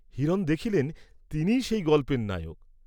হিরণ দেখিলেন তিনিই সেই গল্পের নায়ক।